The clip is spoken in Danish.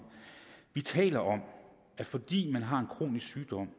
vi taler om at fordi man har en kronisk sygdom